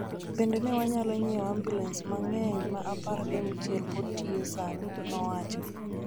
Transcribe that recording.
Bende, ne wanyalo nyiewo ambulens mang�eny ma apar gi auchiel pod tiyo sani,� nowacho.